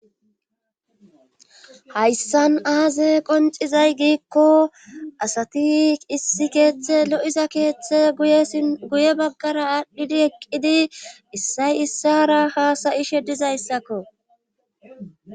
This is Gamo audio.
hayssan aaze qoncizay giikko asati issi keeththe lo7iza keeththe guye baggara aadhdhidi eqqidi issay issara haasayi she dizayssakko